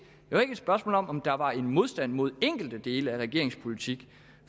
var ikke et spørgsmål om der var en modstand imod enkelte dele af regeringens politik